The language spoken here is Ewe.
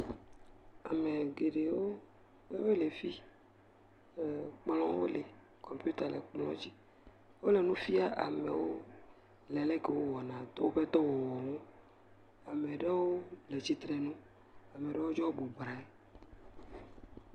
Ame geɖewo wole fi ee kplɔ̃wo le, kɔmpita le kplɔ̃ dzi, wole nu fia amewo le le ke wowɔ na .. woƒe dɔwɔwɔwo, ame ɖewo le tsitsre nu, ame ɖewo tsɔo bubra ŋi.